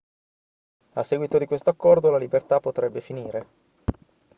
a seguito di questo accordo la libertà potrebbe finire